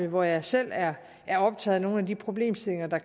hvor jeg selv er er optaget af nogle af de problemstillinger der